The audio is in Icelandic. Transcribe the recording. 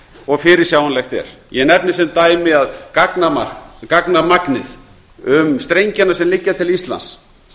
og fyrirsjáanlegt er ég nefni sem dæmi að gagnamagnið um strengina sem liggja til íslands